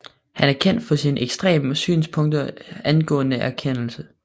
Han er kendt for sine ekstreme synspunkter angående erkendelse